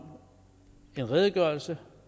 en redegørelse